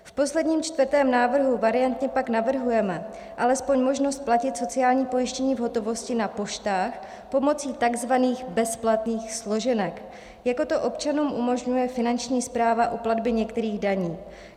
V posledním, čtvrtém návrhu variantně pak navrhujeme alespoň možnost platit sociální pojištění v hotovosti na poštách, pomocí tzv. bezplatných složenek, jako to občanům umožňuje Finanční správa u platby některých daní.